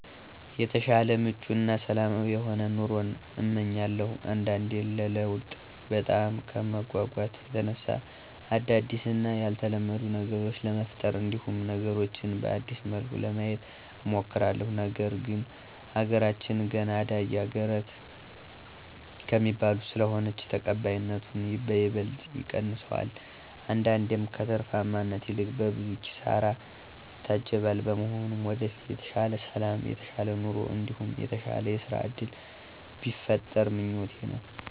የተሻለ ምቹ እና ሰላማዊ የሆነ ኑሮን እመኛለሁ። አንዳንዴ ለለውጥ በጣም ከመጎጎት የተነሳ አዳዲስ እና ያልተለመዱ ነገሮችን ለመፍጠር እንዲሁም ነገሮችን በአዲስ መልኩ ለማየት እሞክራለሁ፤ ነገር ግን አገራችን ገና አዳጊ አገራተ ከሚባሉት ስለሆነች ተቀባይነቱን በይበልጥ ይቀንሰዋል አንዳንዴም ከትርፋማነት ይልቅ በብዙ ኪሳራ ይታጀባል። በመሆኑም ወደፊት የተሻለ ሠላም የተሻለ ኑሮ እንዲሁም የተሻለ የስራ እድል ቢፈጠር ምኞቴ ነው።